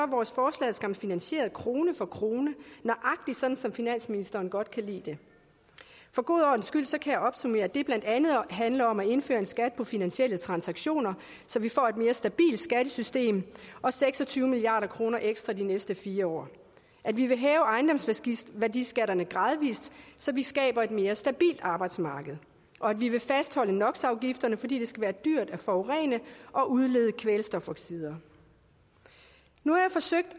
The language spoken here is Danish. vores forslag skam finansieret krone for krone nøjagtig sådan som finansministeren godt kan lide det for god ordens skyld kan jeg opsummere at det blandt andet handler om at indføre en skat på finansielle transaktioner så vi får et mere stabilt skattesystem og seks og tyve milliard kroner ekstra de næste fire år at vi vil hæve ejendomsværdiskatterne gradvis så vi skaber et mere stabilt arbejdsmarked og at vi vil fastholde nox afgifterne fordi det skal være dyrt at forurene og udlede kvælstofoxider nu har jeg forsøgt